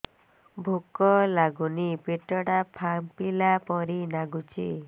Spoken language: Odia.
ଭୁକ ଲାଗୁନି ପେଟ ଟା ଫାମ୍ପିଲା ପରି ନାଗୁଚି